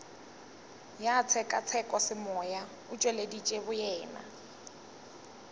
ya tshekatshekosemoya o tšweleditše boyena